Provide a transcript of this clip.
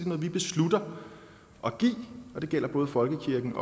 noget vi beslutter at give og det gælder både folkekirken